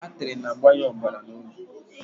Atrị na-agbanye ọbara na obi